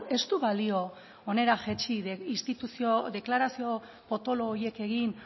ez du balio hona jaitsi instituzio deklarazio potolo horiek egin